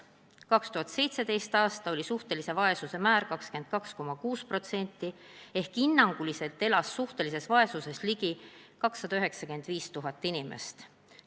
2017. aastal oli suhtelise vaesuse määr 22,6% ehk hinnanguliselt elas suhtelises vaesuses ligi 295 000 inimest.